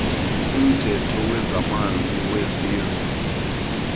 umthetho wezamanzi wesizwe